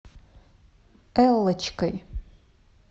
эллочкой